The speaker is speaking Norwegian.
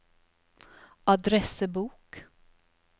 adressebok